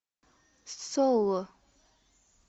соло